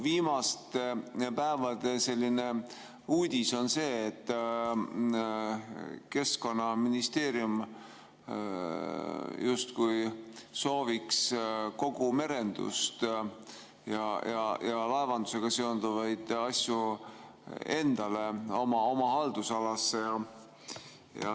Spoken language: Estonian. Viimaste päevade uudis on see, et Keskkonnaministeerium justkui sooviks kogu merendust ja laevandusega seonduvaid asju endale, oma haldusalasse.